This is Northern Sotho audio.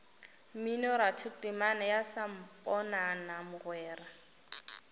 mminoratho temana ya samponana mogwera